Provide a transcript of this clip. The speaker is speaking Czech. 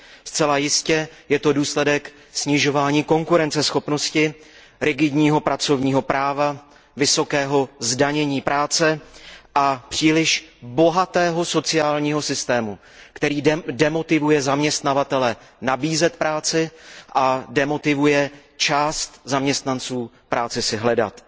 Zcela jistě je to důsledek snižování konkurenceschopnosti rigidního pracovního práva, vysokého zdanění práce a příliš bohatého sociálního systému, který demotivuje zaměstnavatele nabízet práci a demotivuje část zaměstnanců práci si hledat.